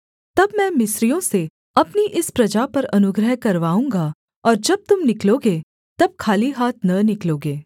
तब मैं मिस्रियों से अपनी इस प्रजा पर अनुग्रह करवाऊँगा और जब तुम निकलोगे तब खाली हाथ न निकलोगे